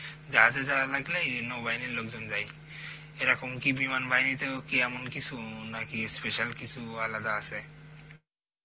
জাহাজে যাওয়ার লাগলে নৌবাহিনীর লোকজন যায় এরকম কি বিমান বাহিনীতেও কি এমন কিছু নাকি special কিছু আলাদা আছে